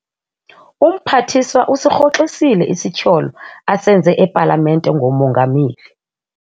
Umphathiswa usirhoxisile isityholo asenze epalamente ngomongameli.